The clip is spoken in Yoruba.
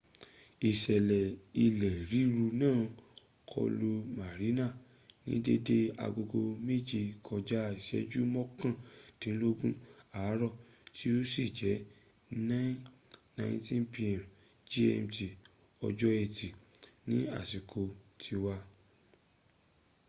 ìṣẹlẹ ilẹ̀ ríru náà kọlu mariana ní dédé agogo méje kọjá ìṣẹ́jú mọ́kàndínlógún àárọ̀ tí ó sì jẹ́ 09:19 p.m. gmt ọjọ́ ẹtì ní àsìkò tiwa